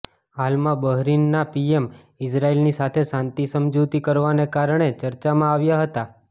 હાલમાં બહરીનના પીએમ ઇઝરાયલની સાથે શાંતિ સમજુતી કરવાને કારણે ચર્ચામાં આવ્યા હતા